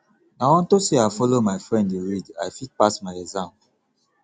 na unto say i follow my friend dey read i fit pass my exam